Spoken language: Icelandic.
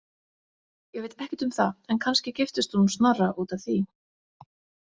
Ég veit ekkert um það en kannski giftist hún Snorra út af því.